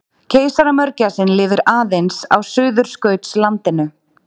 keisaramörgæsin lifir aðeins á suðurskautslandinu